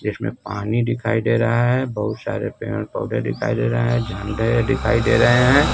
जिसमें पानी दिखाई दे रहा है बहुत सारे पेड़ पौधे दिखाई दे रहा है झंडे दिखाई दे रहे हैं।